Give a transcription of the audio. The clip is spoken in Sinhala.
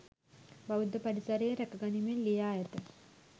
බෞද්ධ පරිසරය රැකගනිමින් ලියා ඇත.